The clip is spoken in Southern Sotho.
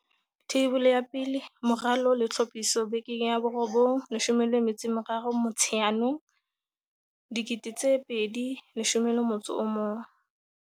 Theibole ya 1. Moralo le tlhophiso- Beke ya 9 13 Motsheanong 2011